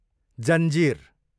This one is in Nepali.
जन्जिर